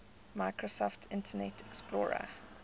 microsoft internet explorer